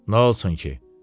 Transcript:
Nə olsun ki?